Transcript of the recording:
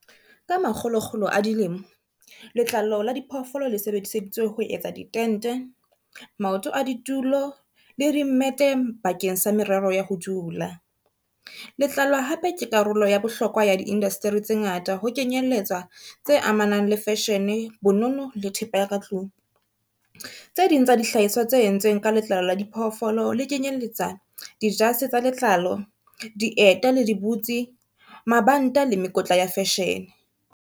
Ka makgolokgolo a dilemo letlalo la diphoofolo le sebediseditswe ho etsa di tente, maoto a ditulo le di mmete bakeng sa merero ya ho dula. Letlalo hape ke karolo ya bohlokwa ya di indasteri tse ngata ho kenyelletswa tse amanang le fashion, bonono le thepa ya ka tlung. Tse ding tsa dihlahiswa tse entsweng ka letlalo la diphoofolo le kenyeletsa dijase tsa letlalo, dieta le di butse, mabanta le mekotla ya fashion.